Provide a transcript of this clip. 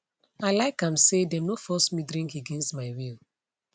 i like am say them no force me drink against my will